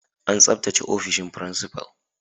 An tsabtace ofishin principal.